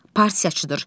Partiyaçıdır.